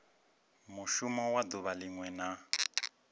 mushumo wa duvha linwe na